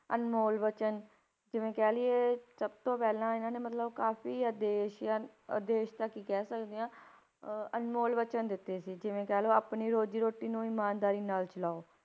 ਅਨਮੋਲ ਵਚਨ ਜਿਵੇਂ ਕਹਿ ਲਈਏ ਸਭ ਤੋਂ ਪਹਿਲਾਂ ਇਹਨਾਂ ਨੇ ਮਤਲਬ ਕਾਫ਼ੀ ਆਦੇਸ਼ ਜਾਣੀ ਆਦੇਸ਼ ਤਾਂ ਕੀ ਕਹਿ ਸਕਦੇ ਹਾਂ ਅਹ ਅਨਮੋਲ ਵਚਨ ਦਿੱਤੇ ਸੀ, ਜਿਵੇਂ ਕਹਿ ਲਓ ਆਪਣੀ ਰੋਜ਼ੀ ਰੋਟੀ ਨੂੰ ਇਮਾਨਦਾਰੀ ਨਾਲ ਚਲਾਓ,